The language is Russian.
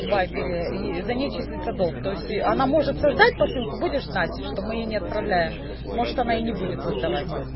вайбере и за ней числится долг то есть она может создать посылку будешь знать что мы ей не отправляем может она и не будет создавать